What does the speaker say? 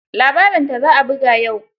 Labarinta za a buga yau.